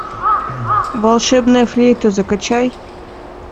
волшебная флейта закачай